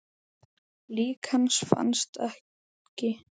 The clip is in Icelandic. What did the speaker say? Lík hans fannst aldrei.